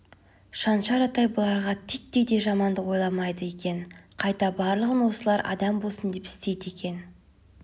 шаншар атай бұларға титтей де жамандық ойламайды екен қайта барлығын осылар адам болсын деп істейді екен